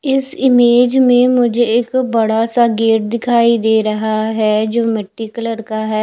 इस इमेज में मुझे एक बड़ा सा गेट दिखाई दे रहा है जो मिट्टी कलर का है।